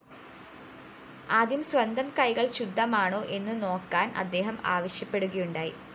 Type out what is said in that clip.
ആദ്യം സ്വന്തം കൈകള്‍ ശുദ്ധമാണോ എന്നുനോക്കാന്‍ അദ്ദേഹം ആവശ്യപ്പെടുകയുണ്ടായി